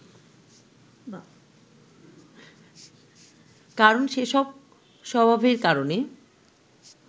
কারণ যেসব স্বভাবের কারণে